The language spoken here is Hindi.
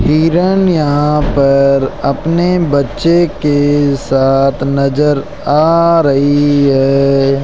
हिरन यहां पर अपने बच्चे के साथ नजर आ रही है।